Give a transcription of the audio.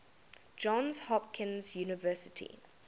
johns hopkins university